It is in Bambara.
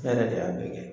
Ne yɛrɛ de y'a bɛɛ kɛ